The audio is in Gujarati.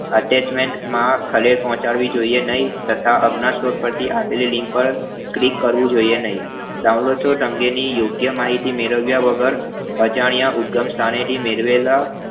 Attachment માં ખલેલ પહોચાડવી જોય્યે નહિ તથા અજ્ઞા shop પરથી આવેલી link Click કરવું જોય્યે નહિ download અંગેની યોગ્ય માહિતી મેળવ્યા વગર અજાણ્યા ઉપગણ સ્થાનાથે મેળવેલા